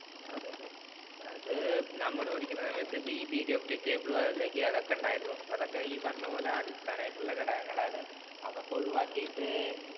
അതെ അതെ. അത് നമ്മള് പഠിക്കുന്ന സമയത്ത് ഈ periodic table അല്ലെങ്കില്‍ അതൊക്കെ ഉണ്ടായിരുന്നു. അതൊക്കെ ഈ പറഞ്ഞ പോലെ അടിസ്ഥാന ഘടകങ്ങളാണ്. അതൊക്കെ ഒഴിവാക്കീട്ട്